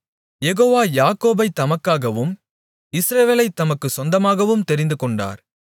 யெகோவா யாக்கோபைத் தமக்காகவும் இஸ்ரவேலைத் தமக்குச் சொந்தமாகவும் தெரிந்துகொண்டார்